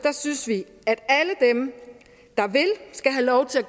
synes vi at alle dem der vil skal have lov til at